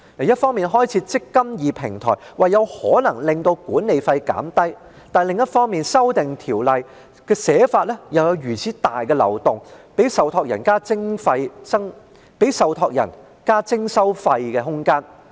一方面，政府開設"積金易"平台，表示可能令管理費減低；但另一方面，《條例草案》有如此重大的漏洞，給予受託人增加徵費的空間。